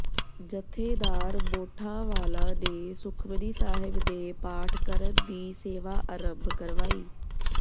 ਜਥੇਦਾਰ ਮੋਠਾਂ ਵਾਲਾ ਨੇ ਸੁਖਮਨੀ ਸਾਹਿਬ ਦੇ ਪਾਠ ਕਰਨ ਦੀ ਸੇਵਾ ਆਰੰਭ ਕਰਵਾਈ